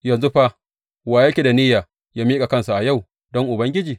Yanzu fa wa yake da niyya yă miƙa kansa a yau don Ubangiji?